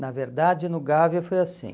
Na verdade, no Gávea foi assim.